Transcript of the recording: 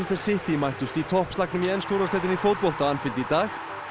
City mættust í toppslagnum í ensku úrvalsdeildinni í fótbolta á Anfield í dag